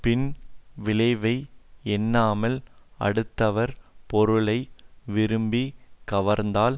பின் விளைவை எண்ணாமல் அடுத்தவர் பொருளை விரும்பிக் கவர்ந்தால்